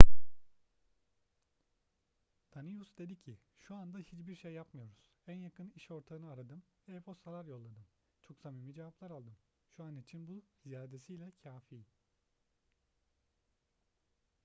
danius dedi ki şu anda hiçbir şey yapmıyoruz en yakın iş ortağını aradım ve e-postalar yolladım çok samimi cevaplar aldım şu an için bu ziyadesiyle kafi